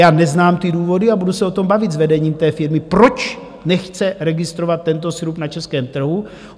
Já neznám ty důvody a budu se o tom bavit s vedením té firmy, proč nechce registrovat tento sirup na českém trhu.